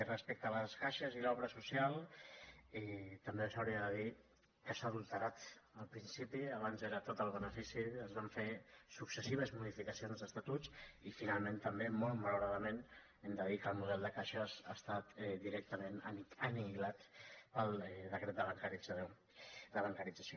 respecte a les caixes i l’obra social també s’hauria de dir que s’ha adulterat el principi abans era tot el benefici es van fer successives modificacions d’estatuts i finalment també molt malauradament hem de dir que el model de caixes ha estat directament anihilat pel decret de bancarització